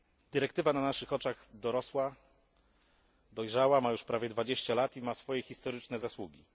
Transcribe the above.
Dyrektywa na naszych oczach dorosła, dojrzała, ma już prawie 20 lat i ma swoje historyczne zasługi.